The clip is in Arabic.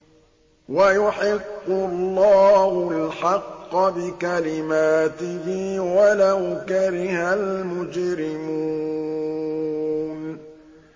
وَيُحِقُّ اللَّهُ الْحَقَّ بِكَلِمَاتِهِ وَلَوْ كَرِهَ الْمُجْرِمُونَ